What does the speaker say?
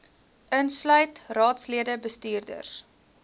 insluit raadslede bestuurders